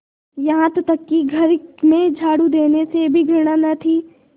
यहाँ तक कि घर में झाड़ू देने से भी घृणा न थी